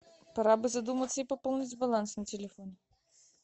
пора бы задуматься и пополнить баланс на телефон